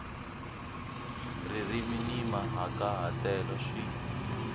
ririmi ni mahikahatelo swi